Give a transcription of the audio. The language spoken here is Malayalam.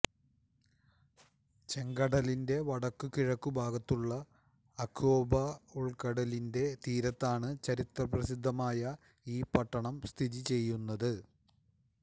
ചെങ്കടലിന്റെ വടക്കു കിഴക്കു ഭാഗത്തുള്ള അക്വബാ ഉൾക്കടലിന്റെ തീരത്താണ് ചരിത്രപ്രസിദ്ധമായ ഈ പട്ടണം സ്ഥിതിചെയ്യുന്നത്